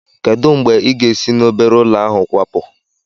Kedu mgbe ị ga-esi na obere ụlọ ahụ kwapu?